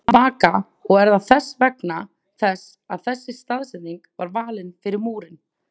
Vaka: Og er það þess vegna þess að þessi staðsetning var valin fyrir múrinn?